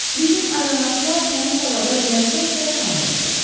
Bizim ayronaftlar təmiz havada ləzzətlə şam elədilər.